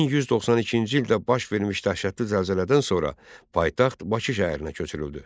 1192-ci ildə baş vermiş dəhşətli zəlzələdən sonra paytaxt Bakı şəhərinə köçürüldü.